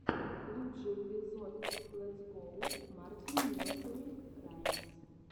лучший эпизод летс гоу мартин несери раймс